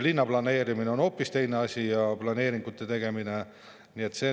Linnaplaneerimine ja planeeringute tegemine on hoopis teine asi.